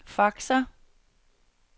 faxer